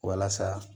Walasa